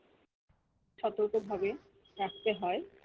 সতর্ক ভাবে রাখতে হয়